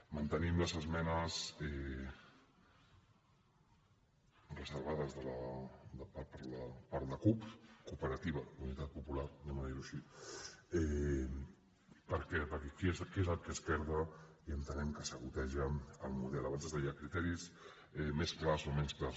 mantenim les esmenes reservades per la cup cooperativa d’unitat popular anem a dir ho així per què perquè què és el que esquerda i entenem que saboteja el model abans es deia criteris més clars o menys clars